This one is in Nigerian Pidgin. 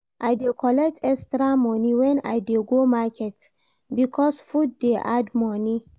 I dey collect extra moni wen I dey go market because food dey add moni.